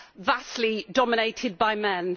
vastly dominated by men.